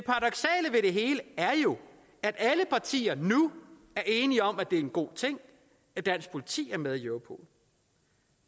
hele er at alle partier nu er enige om at det er en god ting at dansk politi er med i europol